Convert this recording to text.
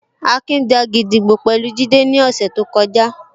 Akin ja gídígbò pẹ̀lú Jide ní ọ̀sẹ̀ tó kọjá